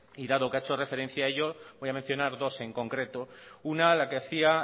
y dado que ha hecho referencia a ello voy a mencionar dos en concreto una la que hacía